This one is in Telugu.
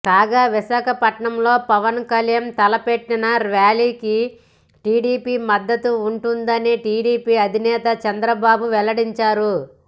కాగ విశాఖపట్నంలో పవన్ కల్యాణ్ తలపెట్టిన ర్యాలీకి టీడీపీ మద్దతు ఉంటుందని టీడీపీ అధినేత చంద్రబాబు వెల్లడించారు